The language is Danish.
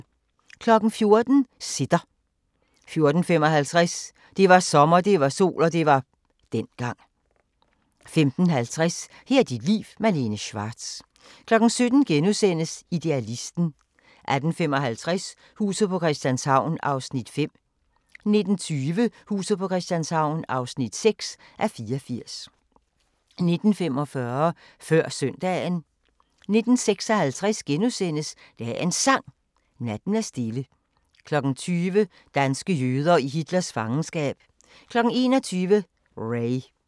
14:00: Sitter 14:55: Det var sommer, det var sol – og det var dengang 15:50: Her er dit liv – Malene Schwartz 17:00: Idealisten * 18:55: Huset på Christianshavn (5:84) 19:20: Huset på Christianshavn (6:84) 19:45: Før Søndagen 19:56: Dagens Sang: Natten er stille * 20:00: Danske jøder i Hitlers fangenskab 21:00: Ray